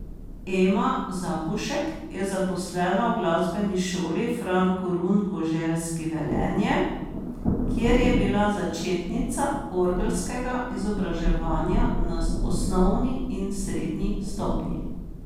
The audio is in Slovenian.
Ema Zapušek je zaposlena v Glasbeni šoli Fran Korun Koželjski Velenje, kjer je bila začetnica orgelskega izobraževanja na osnovni in srednji stopnji.